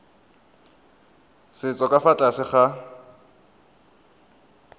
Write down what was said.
setso ka fa tlase ga